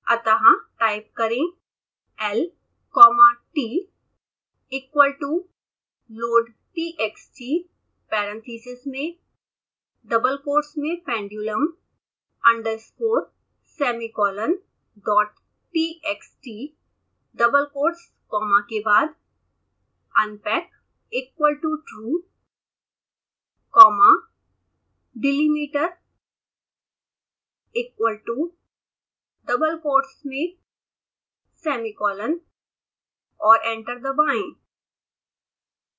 अतः टाइप करें lcommatequal toloadtxt parentheses में double quotes में pendulumunderscoresemicolon dottxtdouble quotes comma के बाद unpackequal totruecommadelimiterequal todouble quotes मेंsemicolon और एंटर दबाएं